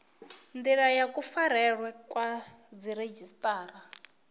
ndila ya kufarelwe kwa dziredzhisiṱara